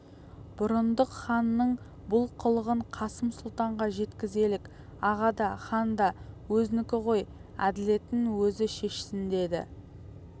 бұрындық ханның бұл қылығын қасым сұлтанға жеткізелік аға да хан да өзінікі ғой әділетін өзі шешсін деді